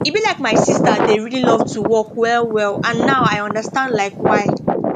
e be like my sister dey really love to walk well well and now i understand like why